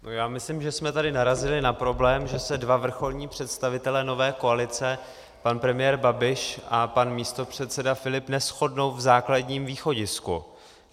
Já myslím, že jsme tady narazili na problém, že se dva vrcholní představitelé nové koalice, pan premiér Babiš a pan místopředseda Filip, neshodnou v základním východisku.